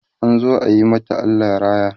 an zo ayi mata Allah raya